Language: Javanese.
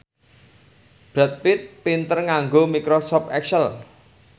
Brad Pitt pinter nganggo microsoft excel